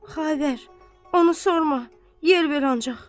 Xavər, onu sorma! Yer ver ancaq.